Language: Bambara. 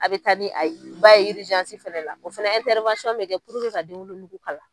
A bɛ taa ni a ye, ba ye fɛnɛ la, o fɛnɛ bɛ kɛ puruke ka denwolonugu kala.